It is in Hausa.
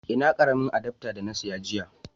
Ina karamin adafta da na siya jiya.